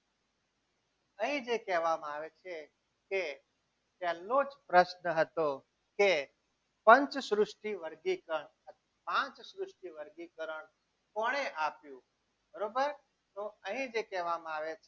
અહીં જે કહેવામાં આવે છે તે પહેલો જ પ્રશ્ન હતો કે પંચ સૃષ્ટિ વર્ગીકરણ પાંચ સૃષ્ટિ વર્ગીકરણ કોણે આપ્યું? બરોબર તો અહીં જે કહેવામાં આવે છે.